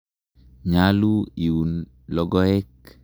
Nyalu iun logoek.